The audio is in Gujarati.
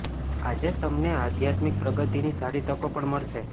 આજે તમને આધ્યાત્મિક પ્રગતિની સારી તકો પણ મળશે